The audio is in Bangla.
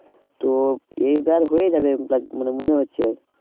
তো এইবার হয়ে যাবে মানে মনে হচ্ছে